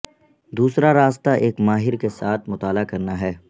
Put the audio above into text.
دوسرا راستہ ایک ماہر کے ساتھ مطالعہ کرنا ہے